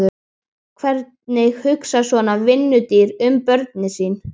Hvernig hugsar svona vinnudýr um börnin sín?